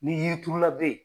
Ni yi turula be ye